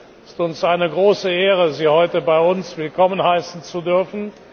Es ist uns eine große Ehre, Sie heute bei uns willkommen heißen zu dürfen.